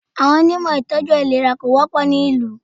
Àwọn Onímọ̀ ìtọ́jú àìlera kò wọ́pọ̀ ní ìlú.